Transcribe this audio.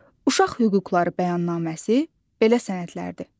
Uşaq hüquqları bəyannaməsi belə sənədlərdir.